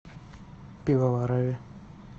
пивоварове